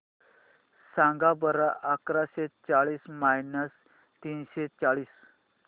सांगा बरं अकराशे चाळीस मायनस तीनशे चाळीस